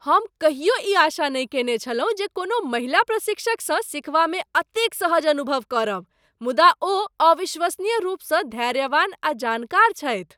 हम कहियो ई आशा नहि केने छलहुँ जे कोनो महिला प्रशिक्षकसँ सिखबामे एतेक सहज अनुभव करब, मुदा ओ अविश्वसनीय रूपसँ धैर्यवान आ जानकार छथि।